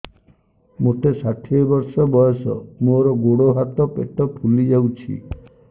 ମୋତେ ଷାଠିଏ ବର୍ଷ ବୟସ ମୋର ଗୋଡୋ ହାତ ପେଟ ଫୁଲି ଯାଉଛି